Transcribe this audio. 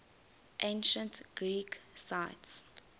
ancient greek sites